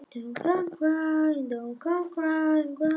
Og svo kviknaði ljósið loksins og barnið brosti að öllu saman.